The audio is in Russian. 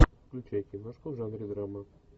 включай киношку в жанре драма